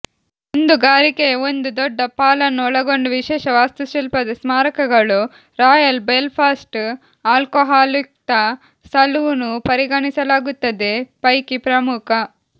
ದುಂದುಗಾರಿಕೆಯ ಒಂದು ದೊಡ್ಡ ಪಾಲನ್ನು ಒಳಗೊಂಡ ವಿಶೇಷ ವಾಸ್ತುಶಿಲ್ಪದ ಸ್ಮಾರಕಗಳು ರಾಯಲ್ ಬೆಲ್ಫಾಸ್ಟ್ ಆಲ್ಕೊಹಾಲ್ಯುಕ್ತ ಸಲೂನ್ ಪರಿಗಣಿಸಲಾಗುತ್ತದೆ ಪೈಕಿ ಪ್ರಮುಖ